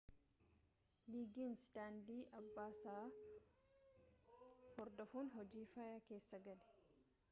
liigiins daandii abbaasaa hordofuun hojii fayyaa keessa gale